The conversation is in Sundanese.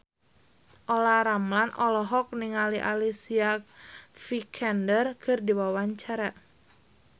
Olla Ramlan olohok ningali Alicia Vikander keur diwawancara